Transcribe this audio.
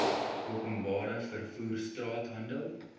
openbare vervoer straathandel